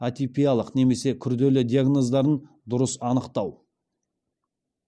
атипиялық немесе күрделі диагноздарын дұрыс анықтау